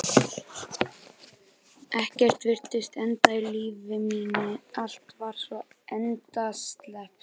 Ekkert virtist endast í lífi mínu, allt var svo endasleppt.